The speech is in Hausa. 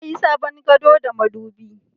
Na yi sabon gado da madubi